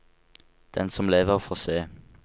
Den som lever, får se.